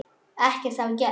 Ekkert hafi gerst.